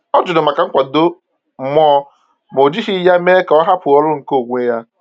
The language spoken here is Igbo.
Ọ jụrụ maka nkwado mmụọ, ma o jighị ya mee ka ọ hapụ ọrụ nke onwe ya.